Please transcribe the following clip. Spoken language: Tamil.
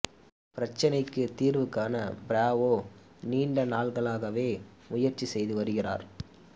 பிரச்னைக்குத் தீர்வு காண பிராவோ நீண்ட நாள்களாகவே முயற்சி செய்து வருகிறார்